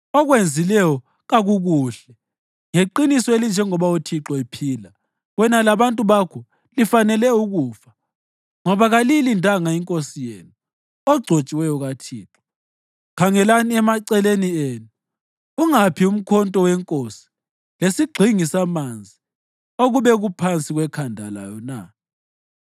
Okwenzileyo kakukuhle. Ngeqiniso elinjengoba uThixo ephila, wena labantu bakho lifanele ukufa, ngoba kaliyilindanga inkosi yenu, ogcotshiweyo kaThixo. Khangelani emaceleni enu. Ungaphi umkhonto wenkosi lesigxingi samanzi okube kuphansi kwekhanda layo na?”